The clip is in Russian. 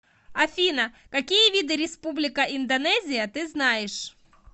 афина какие виды республика индонезия ты знаешь